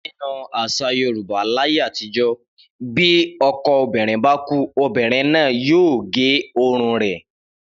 Nínú às̩à Yorùbá láyé àtijó̩, bí o̩k̩o̩ obìnrin bá kú, obìnrin náà yóò gé orun rè̩